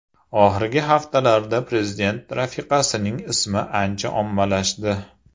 Oxirgi haftalarda prezident rafiqasining ismi ancha ommalashdi.